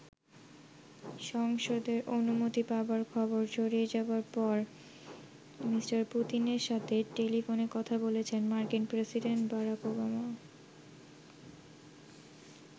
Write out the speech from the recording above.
সংসদের অনুমতি পাবার খবর ছড়িয়ে যাবার পর মি. পুতিনের সাথে টেলিফোনে কথা বলেছেন মার্কিন প্রেসিডেন্ট বারাক ওবামা।